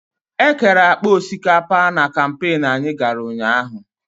Ekere akpa osikapa na kampain anyị gara ụnyaahụ.